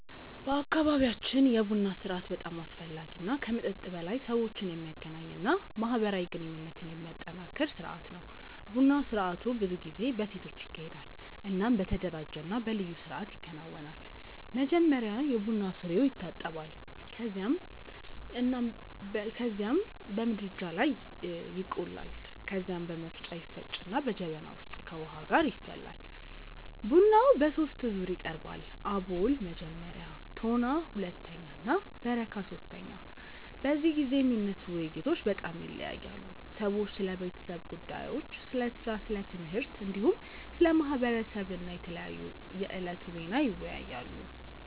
በአካባቢያችን የቡና ስርአት በጣም አስፈላጊ እና ከመጠጥ በላይ ሰዎችን የሚያገናኝ እና ማህበራዊ ግንኙነትን የሚያጠናክር ስርአት ነው። ቡና ስርአቱ ብዙ ጊዜ በሴቶች ይካሄዳል እናም በተደራጀ እና በልዩ ስርአት ይከናወናል። መጀመሪያ የቡና ፍሬዉ ይታጠባል ከዚያም በምድጃ ላይ ይቆላል። ከዚያ በመፍጫ ይፈጭና በጀበና ውስጥ ከውሃ ጋር ይፈላል። ቡናው በሶስት ዙር ይቀርባል፤ አቦል (መጀመሪያ)፣ ቶና (ሁለተኛ) እና በረካ (ሶስተኛ)። በዚህ ጊዜ የሚነሱ ውይይቶች በጣም ይለያያሉ። ሰዎች ስለ ቤተሰብ ጉዳዮች፣ ስለ ሥራ፣ ስለ ትምህርት፣ እንዲሁም ስለ ማህበረሰብ እና የዕለቱ ዜና ይወያያሉ።